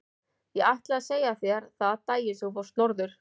Ég ætlaði að segja þér það daginn sem þú fórst norður.